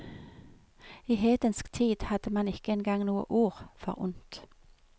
I hedensk tid hadde man ikke engang noe ord for ondt.